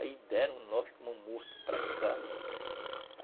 Aí deram nós como mortos para cá.